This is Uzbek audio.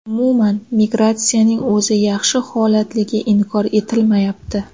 Umuman, migratsiyaning o‘zi yaxshi holatligi inkor etilmayapti.